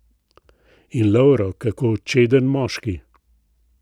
In Lovro, kako čeden moški.